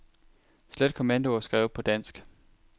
Slet kommandoer skrevet på dansk.